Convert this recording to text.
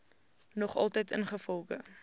nog altyd ingevolge